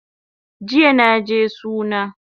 Jiya naje suna